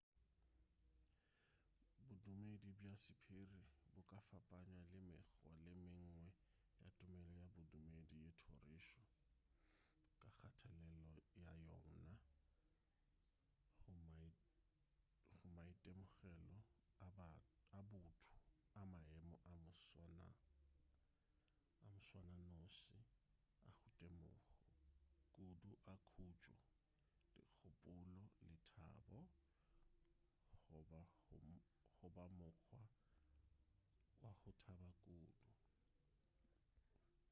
bodumedi bja sephiri bo ka fapanywa le mekgwa ye mengwe ya tumelo ya bodumedi le thorišo ka kgatelelo ya yona go maitemogelo a botho a maemo a moswananoši a go temogo kudu a khutšo dikgopolo lethabo goba mokgwa wa go thaba kudu